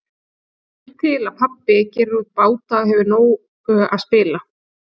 Vill til að pabbi gerir út báta og hefur úr nógu að spila.